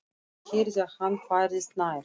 Hún heyrði að hann færðist nær.